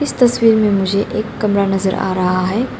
इस तस्वीर में मुझे एक कामरा नजर आ रहा है।